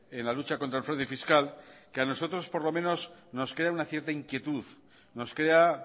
en la lucha contra el fraude fiscal que a nosotros por lo menos nos crea una cierta inquietud nos crea